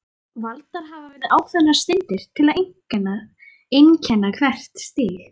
Valdar hafa verið ákveðnar steindir til að einkenna hvert stig.